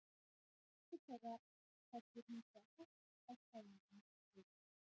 Styrkur þeirra fellur hins vegar hratt að fæðingu lokinni.